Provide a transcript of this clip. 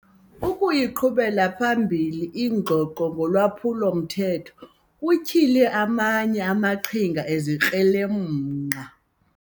Ukuyiqhubela phambili ingxoxo ngolwaphulo-mthetho kutyhile amanye amaqhinga ezikrelemnqa.